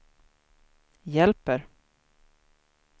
hjälper